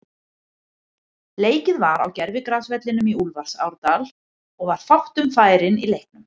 Leikið var á gervigrasvellinum í Úlfarsárdal og var fátt um færin í leiknum.